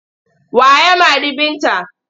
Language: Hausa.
Wa ya mari Binta?